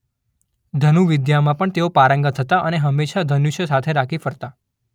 ધનુર્વિદ્યામાં પણ તેઓ પારંગત હતા અને હમેશ ધનુષ્ય સાથે રાખી ફરતા.